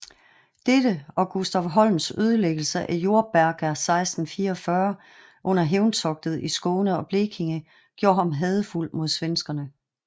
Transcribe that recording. Dette og Gustaf Horns ødelæggelse af Jordberga 1644 under hævntogtet i Skåne og Blekinge gjorde ham hadefuld mod svenskerne